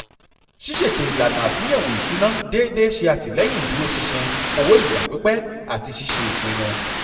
ṣísètò ìlànà àtúnyẹ̀wò ìṣúná déédéé ṣe àtìlẹ́yìn ìdúrósinṣin owó ìgbà pípẹ́ àti ṣíṣe ipinnu